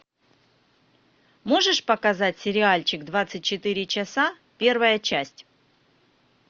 можешь показать сериальчик двадцать четыре часа первая часть